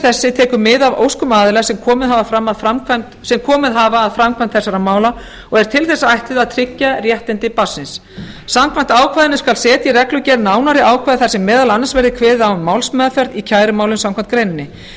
þessi tekur mið af óskum aðila sem komið hafa að framkvæmd þessara mála og er til þess ætluð að tryggja réttindi barnsins samkvæmt ákvæðinu skal setja í reglugerð nánari ákvæði þar sem meðal annars verði kveðið á um málsmeðferð í kærumálum samkvæmt greininni